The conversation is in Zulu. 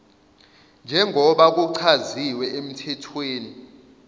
njengoba kuchaziwe emthethweni